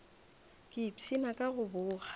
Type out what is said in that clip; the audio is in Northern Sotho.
ke ipshina ka go boga